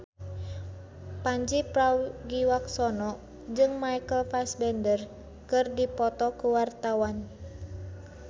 Pandji Pragiwaksono jeung Michael Fassbender keur dipoto ku wartawan